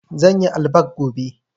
zanyi allback gobe